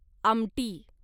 आमटी